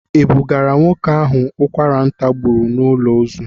E bugara nwoke ahụ ụkwara ntà gburu n'ụlọ ozu.